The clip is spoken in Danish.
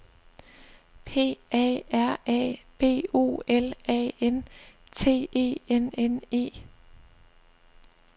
P A R A B O L A N T E N N E